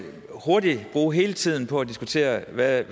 hurtigt bruge hele tiden på at diskutere hvad